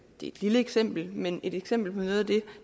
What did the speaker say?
det er et lille eksempel men et eksempel på noget af det